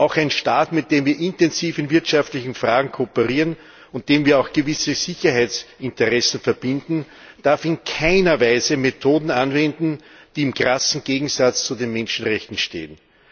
Auch ein Staat, mit dem wir intensiv in wirtschaftlichen Fragen kooperieren und mit dem wir auch gewisse Sicherheitsinteressen verbinden, darf in keiner Weise Methoden anwenden, die im krassen Gegensatz zu den Menschenrechten stehen.